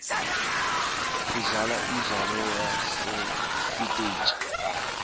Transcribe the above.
sidlala umdlalo wasesiteji